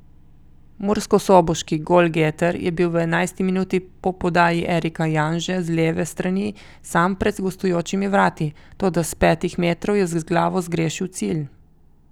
Murskosoboški golgeter je bil v enajsti minuti po podaji Erika Janže z leve strani sam pred gostujočimi vrati, toda s petih metrov je z glavo zgrešil cilj.